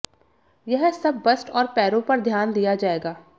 यह सब बस्ट और पैरों पर ध्यान दिया जाएगा